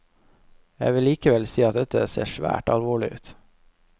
Jeg vil likevel si at dette ser svært alvorlig ut.